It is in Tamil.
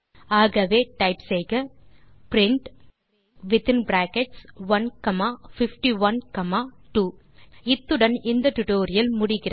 ஆகவே டைப் செய்க print range within brackets 1 comma 51 comma 2 இத்துடன் இந்த டுடோரியல் முடிகிறது